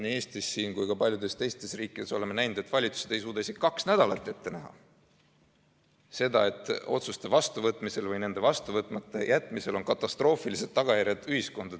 Nii siin Eestis kui ka paljudes teistes riikides oleme näinud, et valitsused ei suuda isegi kaks nädalat ette näha, et otsuste vastuvõtmisel või nende vastu võtmata jätmisel on katastroofilised tagajärjed ühiskonnale.